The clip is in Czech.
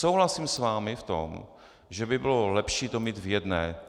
Souhlasím s vámi v tom, že by bylo lepší to mít v jedné.